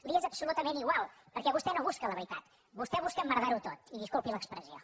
li és absolutament igual perquè vostè no busca la veritat vostè busca emmerdar ho tot i disculpi l’expressió